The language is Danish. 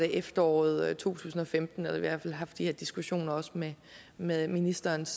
efteråret to tusind og femten eller i hvert fald haft de her diskussioner også med med ministerens